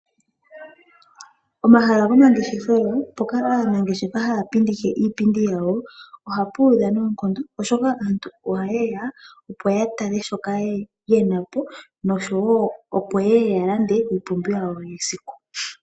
Omahala gomangeshefelo mpoka aanangeshefa haya pindikile iipindi yawo oha pu udha noonkondo oshoka aantu oha ye ya opo ya tale shoka ye na po, osho wo oha ye ya ya lande iipumbiwa yawo yesiku.